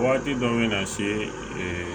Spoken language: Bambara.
Waati dɔ bɛ na se